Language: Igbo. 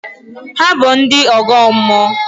Hà bụ ndị ọgọ mmụọ?